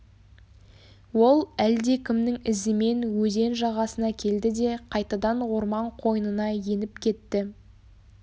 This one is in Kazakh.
ол әлдекімнің ізімен өзен жағасына келді де қайтадан орман қойнына еніп кетті